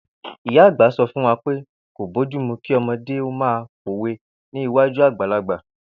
Ìyá àgbà so̩ fún wa pé kò bójúmu kí o̩mo̩dé ó máa pòwe ní iwájú àgbàlagbà